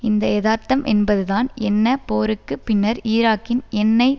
இந்த எதார்த்தம் என்பதுதான் என்ன போருக்கு பின்னர் ஈராக்கின் எண்ணெய்